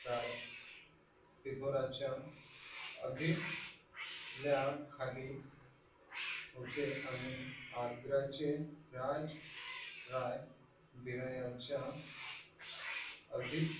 राय टिपूराच्या अधिपत्याखाली होते आणि आग्रहाचे राज राय विरायांच्या अधिक